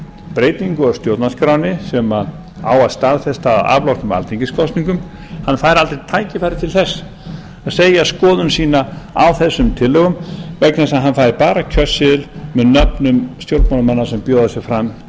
breytingu á stjórnarskránni sem á að staðfesta að afloknum alþingiskosningum fær aldrei tækifæri til þess að segja skoðun sína á þessum tillögum vegna þess að hann fær bara kjörseðil með nöfnum stjórnmálamanna sem bjóða sig fram